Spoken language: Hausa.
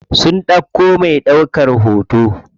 Sun ɗauko me ɗaukan hoto.